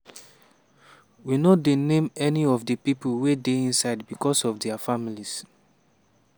we no dey name any of di pipo wey dey inside becos of dia families.